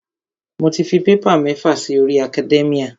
Mo ti fi paper mẹ́fà si orí academia.